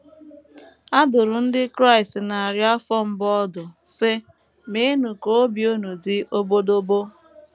A dụrụ ndị Kraịst narị afọ mbụ ọdụ, sị: ‘ Meenụ ka obi unu dị obodobo ’!